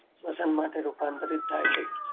શ્વસન માટે રૂપાંતરિત થાય છે.